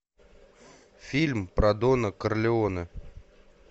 фильм про дона карлеоне